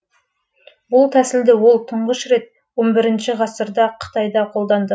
бұл тәсілді ол тұңғыш рет он бірінші ғасырда қытайда қолданды